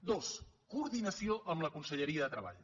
dos coordinació amb la conselleria de treball